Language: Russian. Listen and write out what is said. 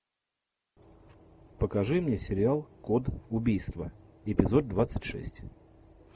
покажи мне сериал код убийства эпизод двадцать шесть